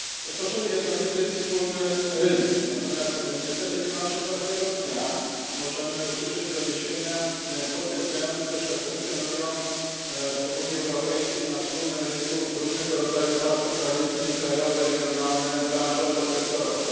Tworzymy jednolity wspólny rynek, natomiast niestety niemalże każdego dnia możemy usłyszeć doniesienia potwierdzające, że funkcjonują w Unii Europejskiej na wspólnym rynku różnego rodzaju partykularyzmy krajowe, regionalne, branżowe, sektorowe.